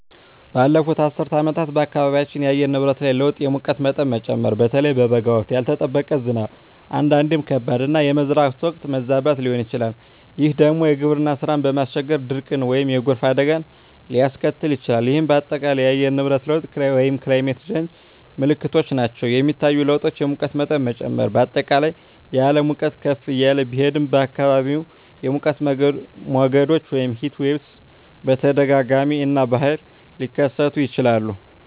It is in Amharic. ባለፉት አስርት ዓመታት በአካባቢያችን የአየር ንብረት ላይ ለውጥ የሙቀት መጠን መጨመር (በተለይ በበጋ ወቅት)፣ ያልተጠበቀ ዝናብ (አንዳንዴም ከባድ)፣ እና የመዝራት ወቅት መዛባት ሊሆን ይችላል፤ ይህ ደግሞ የግብርና ሥራን በማስቸገር ድርቅን ወይም የጎርፍ አደጋን ሊያስከትል ይችላል፣ ይህም በአጠቃላይ የአየር ንብረት ለውጥ (Climate Change) ምልክቶች ናቸው. የሚታዩ ለውጦች: የሙቀት መጠን መጨመር: በአጠቃላይ የዓለም ሙቀት ከፍ እያለ ቢሄድም፣ በአካባቢዎም የሙቀት ሞገዶች (Heatwaves) በተደጋጋሚ እና በኃይል ሊከሰቱ ይችላሉ.